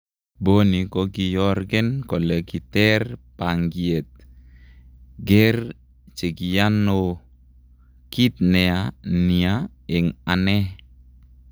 Bonny kokiyorgen kole kiter pangiet, ger chekiyan oo. Kit nea nia een ane.